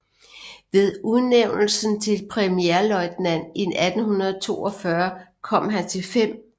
Ved udnævnelsen til premierløjtnant i 1842 kom han til 5